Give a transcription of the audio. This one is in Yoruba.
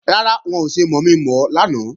Rárá, wọn ò ṣe mọ̀mi-mọ̀ ọ lánàá